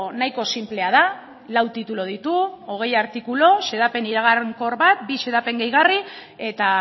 nahiko sinplea da lau titulu ditu hogei artikulu xedapen iragankor bat bi xedapen gehigarri eta